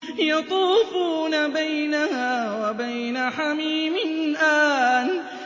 يَطُوفُونَ بَيْنَهَا وَبَيْنَ حَمِيمٍ آنٍ